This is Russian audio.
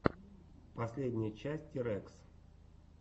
последняя часть тирэкс